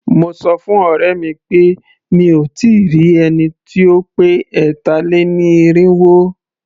Mo sọ fún ọ̀rẹ́ mi pé mí ò tí ì rí ẹni tí ó pé ẹ̀tà-lé-ní-irínwó.